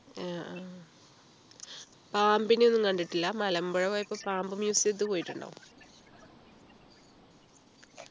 ആഹ് ആ പാമ്പിനെയൊന്നും കണ്ടിട്ടില്ല മലമ്പുഴ പോയപ്പോ പാമ്പ് museum ത്തിൽ പോയിട്ടുണ്ടോ